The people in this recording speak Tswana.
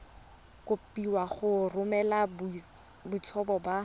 kopiwa go romela boitshupo ba